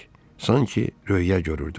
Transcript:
Sanki röya görürdüm.